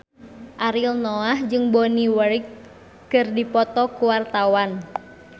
Ariel Noah jeung Bonnie Wright keur dipoto ku wartawan